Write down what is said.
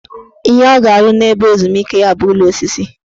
Ihe ọ ga-arụ n' ebe ezumike ya bụ ụlọ osisi